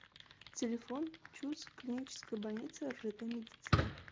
телефон чуз клиническая больница ржд медицина